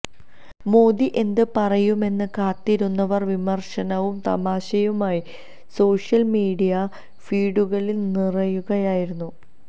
മോദി എന്ത് പറയുമെന്ന് കാത്തിരുന്നവർ വിമർശനവും തമാശയുമായി സോഷ്യൽ മീഡിയ ഫീഡുകളിൽ നിറയുകയയായിരുന്നു